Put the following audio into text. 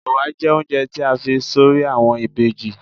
Ẹ̀wà jẹ́ oúnjẹ tí a fi s'orí àwọn ìbejì.